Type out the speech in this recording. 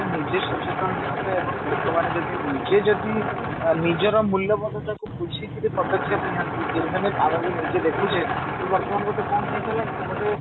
ଯଦି ନିଜେ ସଚେତନ ହବ ଏବଂ ଲୋକ ମାନେ ଯଦି ନିଜେ ଯଦି ଅ ନିଜର ମୂଲ୍ୟବୋଧତା କୁ ବୁଝିକିରି ପଦକ୍ଷେପ ନିଅନ୍ତି even if ଆମେବି ନିଜେ ଦେଖୁଛେ କି ବର୍ତମାନ ଗୋଟେ କଣ ହେଇ ସରିଲାଣି ନା ଗୋଟେ